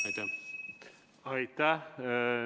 Aitäh!